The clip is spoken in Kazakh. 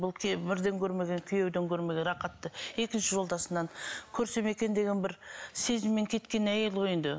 бұл бірден көрмеген күйеуден көрмеген рахатты екінші жолдасынан көрсем екен деген бір сезіммен кеткен әйел ғой енді